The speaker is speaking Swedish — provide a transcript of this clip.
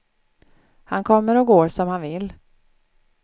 Han kommer och går som han vill.